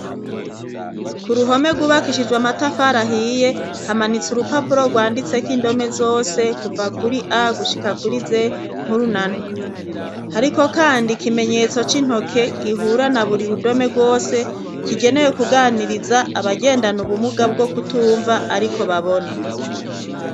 Ku ruhome rwubakishijwe amatafari ahiye, hamanitse urupapuro rwanditseko indome zose kuva kuri a gushika kuri z nkuru na nto, hariko kandi ikimenyetso c'intoke gihura na buri rudome rwose kigenewe kuganiriza abagendana ubumuga bwo kutumva ariko babona.